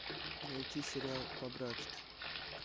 найти сериал по братски